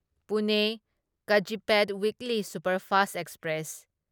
Pune Kazipet weekly superfast express